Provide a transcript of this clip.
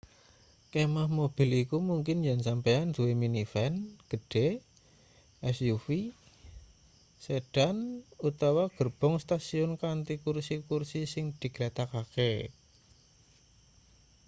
kemah mobil iku mungkin yen sampeyan duwe minivan gedhe suv sedan utawa gerbong stasiun kanthi kursi-kursi sing diglethakake